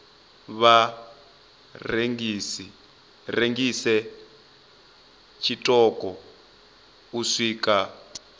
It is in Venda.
vha rengise tshiṱoko u swika